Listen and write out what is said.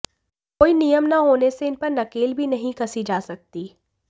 कोई नियम न होने से इनपर नकेल भी नहीं कसी जा सकती